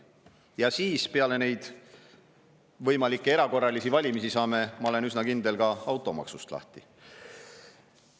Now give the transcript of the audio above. Ja pärast neid võimalikke erakorralisi valimisi saame lahti ka automaksust, ma olen selles üsna kindel.